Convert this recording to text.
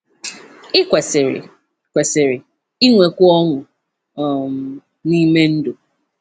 Ị kwesịrị kwesịrị inwekwu ọṅụ um n’ime ndụ.